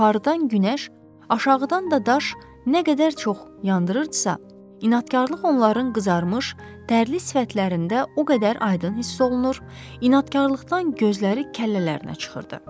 Yuxarıdan günəş, aşağıdan da daş nə qədər çox yandırırdısa, inadkarlıq onların qızarmış, dərli sifətlərində o qədər aydın hiss olunur, inadkarlıqdan gözləri kəllələrinə çıxırdı.